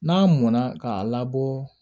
N'a mɔnna k'a labɔ